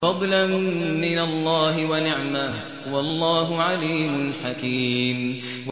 فَضْلًا مِّنَ اللَّهِ وَنِعْمَةً ۚ وَاللَّهُ عَلِيمٌ حَكِيمٌ